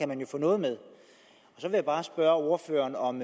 man jo få noget med jeg vil bare spørge ordføreren om